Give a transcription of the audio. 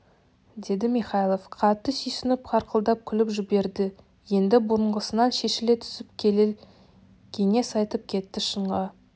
деді михайлов қатты сүйсініп қарқылдап күліп жіберді енді бұрынғысынан шешіле түсіп келел кеңес айтып кетті шынға